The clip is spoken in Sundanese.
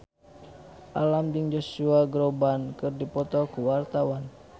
Alam jeung Josh Groban keur dipoto ku wartawan